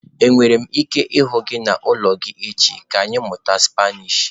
Enwere m ike ịhụ gị n'ụlọ gị echi?, ka ịmụta spanish.